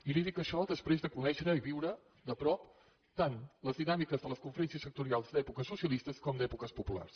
i li dic això després de conèixer i viure de prop tant les dinàmiques de les conferències sectorials d’èpoques socialistes com d’èpoques populars